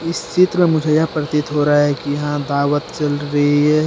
इस चित्र में मुझे यह प्रतीत हो रहा है कि यहां दावत चल रही है।